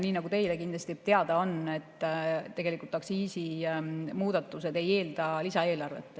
Nii nagu teile kindlasti teada on, tegelikult aktsiisimuudatused ei eelda lisaeelarvet.